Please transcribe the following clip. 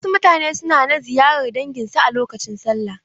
Wasu mutane suna na ziyarar dangin su a lokacin sallah.